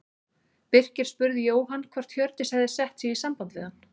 Birkir spurði Jóhann hvort Hjördís hefði sett sig í samband við hann.